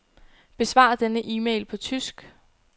Besvar denne e-mail på tysk.